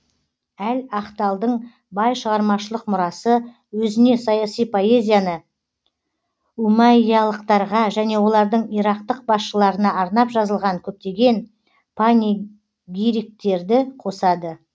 әл ахталдың бай шығармашылық мұрасы өзіне саяси поэзияны умәйялықтарға және олардың ирактық басшыларына арнап жазылған көптеген панегириктерді қосады